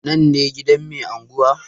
Nan ne gidan mai anguwa?